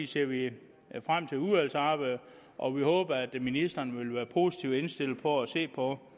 ser vi frem til udvalgsarbejdet og vi håber at ministeren vil være positivt indstillet for at se på